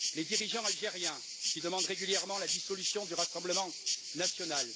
les dirigeants algériens, qui demandent régulièrement la dissolution du Rassemblement national